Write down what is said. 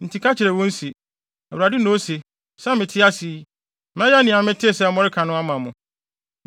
Enti ka kyerɛ wɔn se, ‘ Awurade na ose, sɛ mete ase yi, mɛyɛ nea metee sɛ moreka no ama mo.